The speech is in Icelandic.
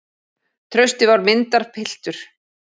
Trausti var myndarpiltur.